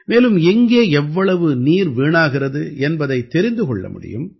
மேலும் எங்கே எவ்வளவு நீர் வீணாகிறது என்பதைத் தெரிந்து கொள்ள முடியும்